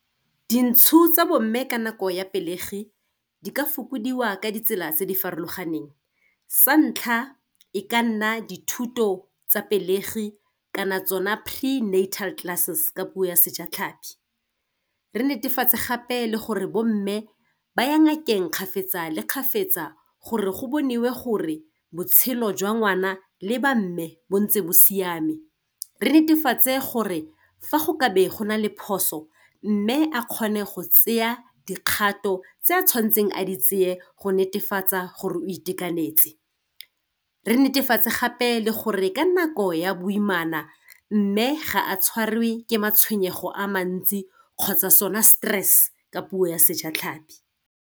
Dintsho tsa bomme ka nako ya pelegi, di ka fokodiwa ka ditsela tse di farologaneng, sa ntlha, e ka nna dithuto tsa pelegi kana tsona prenatal classes, ka puo ya sejatlhapi. Re netefatse gape le gore bomme ba ya ngakeng kgapetsa le kgapetsa, gore go boniwe gore, botshelo jwa ngwana le ba mme, bo ntse bo siame. Re netefatse gore, fa go ka be go na le phoso, mme a kgone go tseya dikgato tse a tshwanetseng a di tseye go netefatsa gore o itekanetse. Re netefatse gape le gore ka nako ya boimana, mme ga a tshwariwe ke matshwenyego a mantsi, kgotsa sone stress, ka puo ya sejatlhapi.